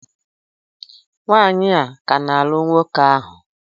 Nwanyị a ka n'alụ nwoke ahụ?